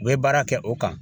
U bɛ baara kɛ o kan